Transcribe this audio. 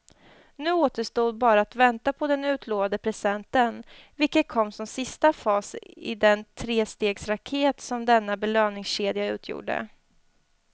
Nu återstod bara att vänta på den utlovade presenten, vilken kom som sista fas i den trestegsraket som denna belöningskedja utgjorde.